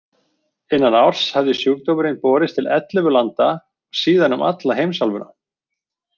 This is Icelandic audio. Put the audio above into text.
Innan árs hafði sjúkdómurinn borist til ellefu landa og síðan um alla heimsálfuna.